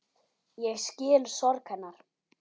Ég skil sorg hennar.